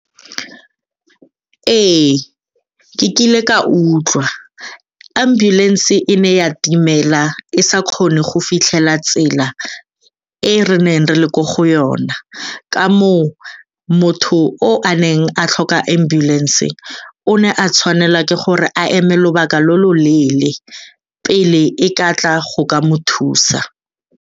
Ee, ke kile ka utlwa. Ambulance e ne ya dimela e sa kgone go fitlhela tsela eo re neng re le ko go yona, ka moo motho o a neng a tlhoka ambulance o ne a tshwanelwa ke gore a eme lobaka lo lo leele pele e ka tla go ka mo thusa.